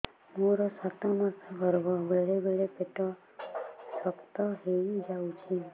ମୋର ସାତ ମାସ ଗର୍ଭ ବେଳେ ବେଳେ ପେଟ ଶକ୍ତ ହେଇଯାଉଛି